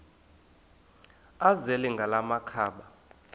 azele ngala makhaba